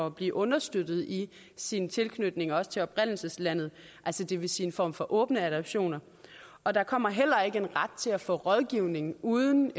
at blive understøttet i sin tilknytning også til oprindelseslandet altså det vil sige en form for åbne adoptioner og der kommer heller ikke en ret til at få rådgivning uden